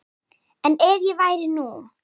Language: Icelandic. En ef ég væri nú.